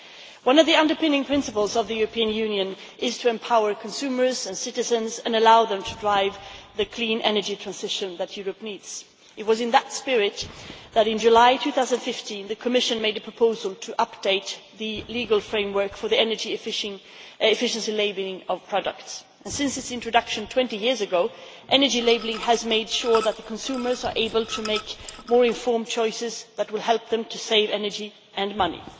One of the underpinning principles of the European Union is to empower consumers and citizens and allow them to drive the clean energy transition that Europe needs. It was in that spirit that, in July 2015, the Commission made a proposal to update the legal framework for the energy efficiency labelling of products, and since its introduction 20 years ago, energy labelling has ensured that consumers are able to make more informed choices that will help them to save energy and money.